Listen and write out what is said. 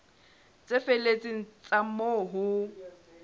tse felletseng tsa moo ho